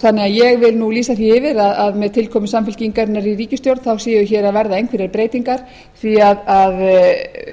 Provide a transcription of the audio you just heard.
ráðherrans ég vil því lýsa því yfir að með tilkomu samfylkingarinnar í ríkisstjórn séu hér að verða einhverjar breytingar því að